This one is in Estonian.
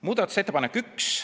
Muudatusettepanek 1.